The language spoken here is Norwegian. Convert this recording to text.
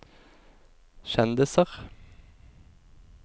kjendiser